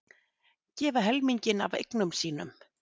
Gefa helminginn af eignum sínum